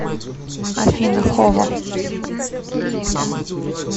афина хово